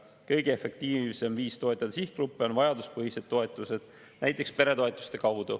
Kõige efektiivsem viis toetada sihtgruppe on vajaduspõhised toetused, näiteks peretoetused.